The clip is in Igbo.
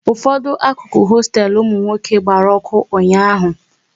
Ụfọdụ akụkụ hosteelu ụmụ nwoke gbara ọkụ ụnyaahụ